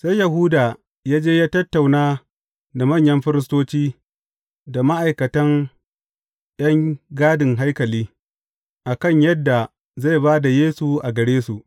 Sai Yahuda ya je ya tattauna da manyan firistoci, da ma’aikatan ’yan gadin haikali, a kan yadda zai ba da Yesu a gare su.